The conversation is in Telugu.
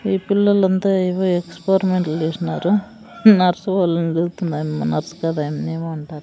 ఈ పిల్లోలంతా ఏవో ఎక్స్పోరిమెంట్లు జేస్నారు నర్సు ఓళ్ళన్ చూస్తుందాయమ్మ నర్స్ కాదు అయమ్మనేమో అంటారు.